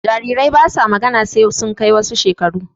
Jarirai basa magana sai sun kai wasu shekaru